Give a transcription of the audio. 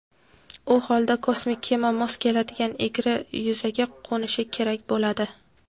u holda kosmik kema mos keladigan egri yuzaga qo‘nishi kerak bo‘ladi.